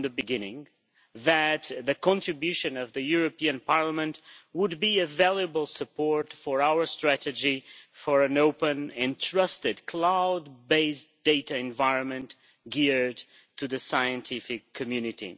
from the beginning that the contribution of this Parliament would be a valuable support for our strategy for an open and trusted cloud based data environment geared to the scientific community.